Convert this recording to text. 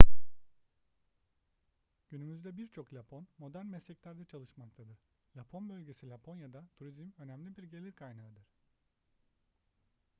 günümüzde birçok lapon modern mesleklerde çalışmaktadır lapon bölgesi laponya'da turizm önemli bir gelir kaynağıdır